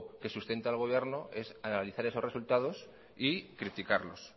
que sustenta al gobierno es analizar esos resultados y criticarlos